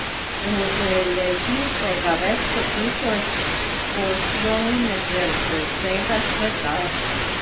Udeleži se ga več kot tisoč poslovnežev z vsega sveta.